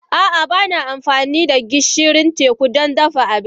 A'a, ba na amfani da gishirin teku don dafa abinci.